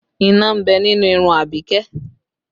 Iná ń bẹ nínú irun Abike